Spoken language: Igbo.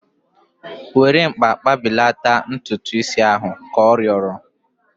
Were mkpa kpụbelata ntutu is ahu! Ka ọ rịọrọ